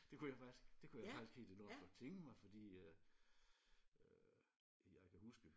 Det kunne jeg faktisk det kunne jeg faktisk helt enormt godt tænke mig fordi øh øh jeg kan huske